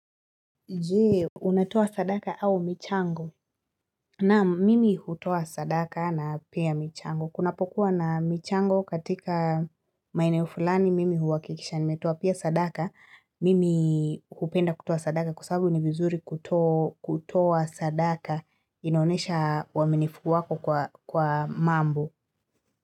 Je, unatoa sadaka au michango? Naam, mimi hutoa sadaka na pia michango. Kunapokuwa na michango katika maeneo fulani, mimi huhakikisha nimetoa pia sadaka. Mimi hupenda kutoa sadaka kwa sabu ni vizuri kutoa sadaka. Inaonesha uaminifu wako kwa kwa mambo.